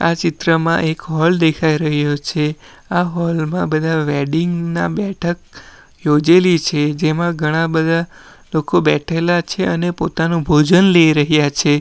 આ ચિત્રમાં એક હોલ દેખાઈ રહ્યો છે આ હોલ માં બધા વેડિંગ ના બેઠક યોજેલી છે જેમાં ઘણા બધા લોકો બેઠેલા છે અને પોતાનું ભોજન લઈ રહ્યા છે.